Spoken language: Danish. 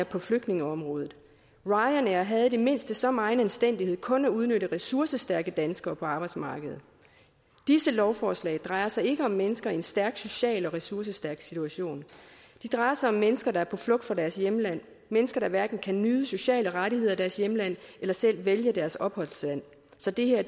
på flygtningeområdet ryanair havde i det mindste så megen anstændighed kun at udnytte ressourcestærke danskere på arbejdsmarkedet disse lovforslag drejer sig ikke om mennesker i en stærk social og ressourcestærk situation det drejer sig om mennesker der er på flugt fra deres hjemland mennesker der hverken kan nyde sociale rettigheder i deres hjemland eller selv vælge deres opholdssted så det er